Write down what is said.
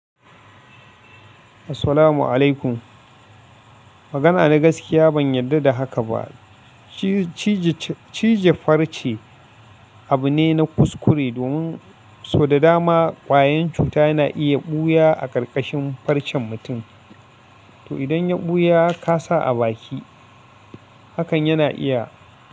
Assalamu alaikum. Magana na gaskiya ban yarda da haka ba. Cije farce abu ne na kuskure domin sau da dama kwayan cuta na iya ɓuya a ƙarƙashin farcen mutum. To idan ya ɓuya ka sa a baki hakan yana iya.